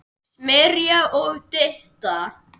Smyrja og dytta að.